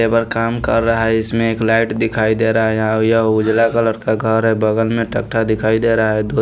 labour काम कर रहा है इसमें एक लाइट दिखाई दे रहा है यहाँ यह उजला कलर का घर है बगल में टकठा दिखाई दे रहा है ध --